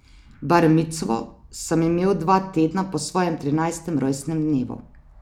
Bar micvo sem imel dva tedna po svojem trinajstem rojstnem dnevu.